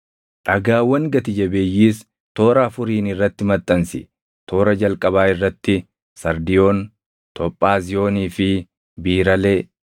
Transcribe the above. Dhagaawwan gati jabeeyyiis toora afuriin irratti maxxansi. Toora jalqabaa irratti sardiyoon, tophaaziyoonii fi biiralee;